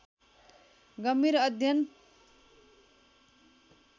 गम्भीर अध्ययन